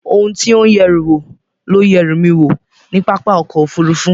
Ohun tí ó ń yẹ ẹrù wò ló yẹ ẹrú mi wò ní pápá ọkọ̀ Òfurufú